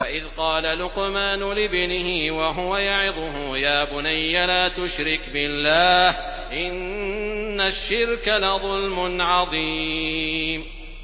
وَإِذْ قَالَ لُقْمَانُ لِابْنِهِ وَهُوَ يَعِظُهُ يَا بُنَيَّ لَا تُشْرِكْ بِاللَّهِ ۖ إِنَّ الشِّرْكَ لَظُلْمٌ عَظِيمٌ